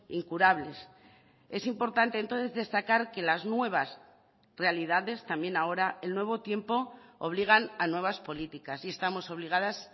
incurables es importante entonces destacar que las nuevas realidades también ahora el nuevo tiempo obligan a nuevas políticas y estamos obligadas